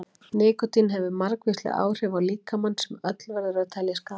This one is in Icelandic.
nikótín hefur margvísleg áhrif á líkamann sem öll verður að telja skaðleg